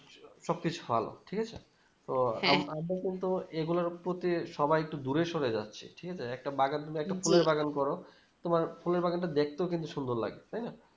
সব কিছু ভালো ঠিক আছে তো কিন্তু এগুলোর প্রতি সবাই একটু দূরে সরে যাচ্ছে ঠিক আছে একটা বাগান তুমি একটা ফুলের বাগান করো তোমার ফুলের বাগানটা দেখতেও কিন্তু সুন্দর লাগবে তাই না